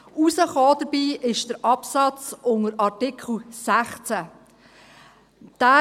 Herausgekommen ist dabei der Absatz unter Artikel 16.